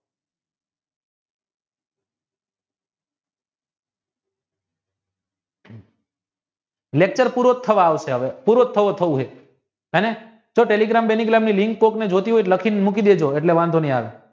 Lachure પૂરો થવા આવશે હવે જો telegram ની link કોઈને જોયતી હોય તો લખી લેજો